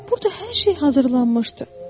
Burda hər şey hazırlanmışdı.